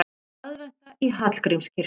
Aðventa í Hallgrímskirkju